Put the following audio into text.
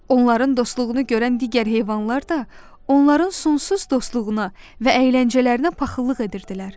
Onların dostluğunu görən digər heyvanlar da onların sonsuz dostluğuna və əyləncələrinə paxıllıq edirdilər.